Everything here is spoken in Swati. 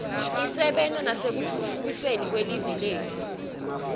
tisebenta nasekutfutfukiseni live letfu